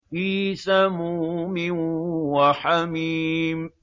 فِي سَمُومٍ وَحَمِيمٍ